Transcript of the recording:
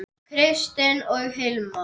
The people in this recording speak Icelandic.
Kristin og Hilmar.